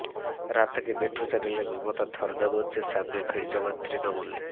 রাত থেকেই মেট্রো চ্যানেলে মমতার ধর্না মঞ্চের সামনে ভিড় জমান তৃণমূল